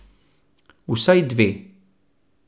Vsaj dve.